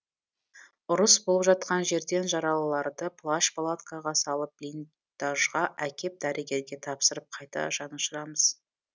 ұрыс болып жатқан жерден жаралыларды плащ палаткаға салып блин дажға әкеп дәрігерге тапсырып қайта жанұшырамыз